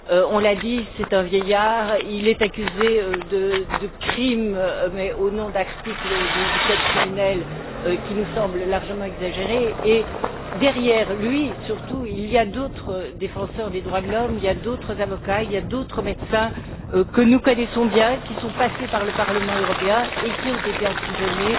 On l'a dit, c'est un vieillard. Il est accusé de crime mais au nom d'articles du code criminel qui nous semblent largement exagérés et, derrière lui, surtout, il y a d'autres défenseurs des droits de l'homme, il y a d'autres avocats, il y a d'autres médecins que nous connaissons bien, qui sont passés par le Parlement européen et qui ont été emprisonnés